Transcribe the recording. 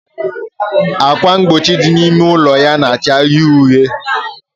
Ákwà mgbochi dị n'ime ụlọ ya na-acha uhie uhie